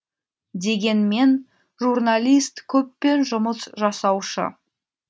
дегенмен журналист көппен жұмыс жасаушы